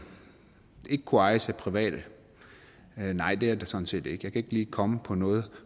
ikke kunne ejes af private nej det er der sådan set ikke jeg ikke lige komme på noget